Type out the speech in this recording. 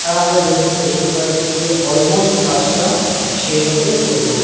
আর আমরা যেরকম বুজতে পাচ্ছি যে অলমোস্ট কাজটা শেষ হতে চললো।